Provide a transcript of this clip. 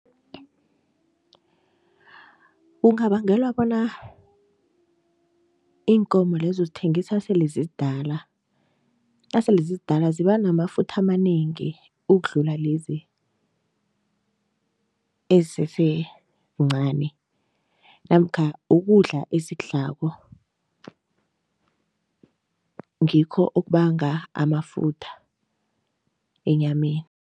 Kungabangelwa bona iinkomo lezo uzithengisa sele zizidala, nasele zizidala ziba namafutha amanengi ukudlula lezi ezisesencani namkha ukudla ezikudlalako ngikho okubanga amafutha enyameni.